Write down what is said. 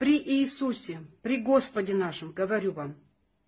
при иисусе при господе нашем говорю вам